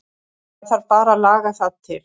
Það þarf bara að laga það til.